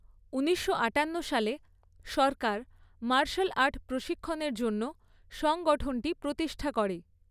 ঊনিশশো আঠান্ন সালে সরকার মার্শাল আর্ট প্রশিক্ষণের জন্য সংগঠনটি প্রতিষ্ঠা করে।